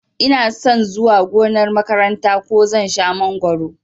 Inason zuwa gonar makaranta ko zan shan mangoro